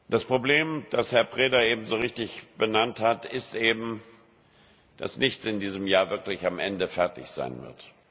Das Problem, das Herr Preda eben so richtig benannt hat, ist eben, dass nichts in diesem Jahr wirklich am Ende fertig sein wird.